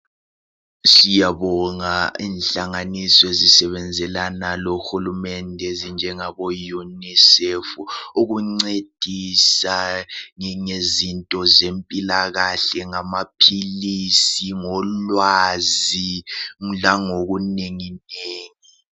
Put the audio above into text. Siyabonga inhlanganiso ezisebenzelana lohulumende ezinjengabo UNICEF ukuncedisa ngezinto zempilakahle . Ngamaphilisi ,ngolwazi langoku nenginengi .